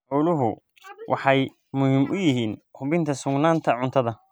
Xooluhu waxay muhiim u yihiin hubinta sugnaanta cuntada.